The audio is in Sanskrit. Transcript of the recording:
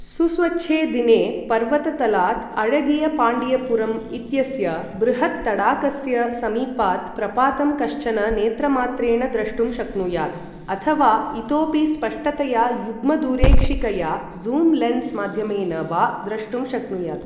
सुस्वच्छे दिने पर्वततलात् अझगियापण्डियापुरम् इत्यस्य बृहत्तडागस्य समीपात् प्रपातं कश्चन नेत्रमात्रेण द्रष्टुं शक्नुयात्, अथ वा इतोपि स्पष्टतया युग्मदूरेक्षिकया ज़ूम् लेन्स् माध्यमेन वा द्रष्टुं शक्नुयात्।